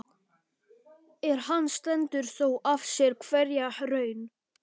En hann stendur þó af sér hverja raun.